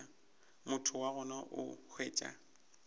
motho wa gona o hwetša